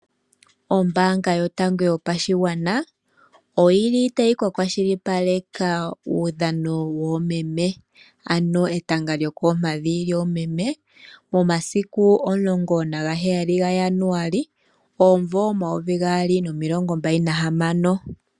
Ombaanga yotango yopashigwana tayi ka kwashilipaleka kuudhano woomeme ano lyokoompadhi lyoomeme. Omasiku omulongo naheyali gaJanuali omumvo omayovi gaali nomilongombali nahamano.